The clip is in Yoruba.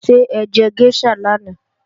Ṣé ẹjẹ géṣà lánàá?